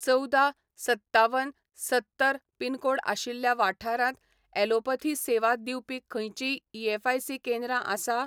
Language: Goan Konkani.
चवदा, सत्तावन, सत्तर पिनकोड आशिल्ल्या वाठारांत, ॲलोपथी सेवा दिवपी खंयचींय ईएसआयसी केंद्रां आसा?